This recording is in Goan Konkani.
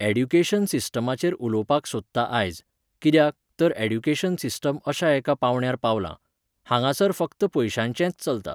ऍड्युकेशन सिस्टमाचेर उलोवपाक सोदतां आयज, कित्याक, तर ऍड्युकेशन सिस्टम अश्या एका पावंड्यार पावलां. हांगासर फक्त पयशांचेंच चलता.